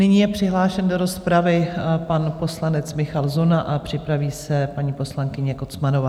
Nyní je přihlášen do rozpravy pan poslanec Michal Zuna a připraví se paní poslankyně Kocmanová.